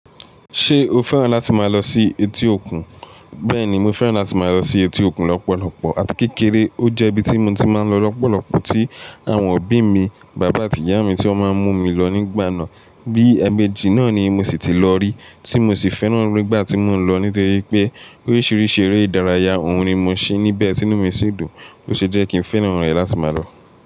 Ṣé o fẹ́ràn láti máa lọ sí etí òkun? Bẹ́ẹ̀ni, mo fẹ́ràn láti máa lọ sí etí òkun lọ́pọ̀lọpọ̀ àti kékeré. Ó jẹ́ ibi tí mo ti máa ń lọ lọ́pọ̀lọpọ̀ tí àwọn òbí mi, bàbá àti ìyá mi tí wọ́n máa ń mú mi lọ nígbà náà. Bí ẹ̀meji náà ni mo sì ti lọ rí tí mo sì fẹ́ràn nígbà tí mò ń lọ nítorí pé oríṣiríṣi eré ìdárayá òún ni mo ṣe níbẹ̀ tínú mi sì dùn, ó ṣe jẹ́ kí n fẹ́ràn rẹ̀ láti máa lọ.